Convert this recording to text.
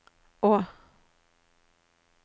å